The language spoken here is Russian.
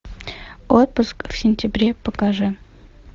отпуск в сентябре покажи